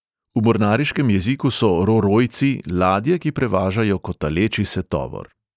V mornariškem jeziku so "ro-rojci" ladje, ki prevažajo kotaleči se tovor.